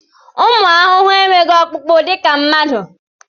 Ụmụ ahụhụ enweghị ọkpụkpụ dịka mmadụ.